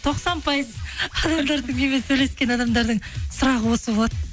тоқсан пайыз адамдардың менімен сөйлескен адамдардың сұрағы осы болады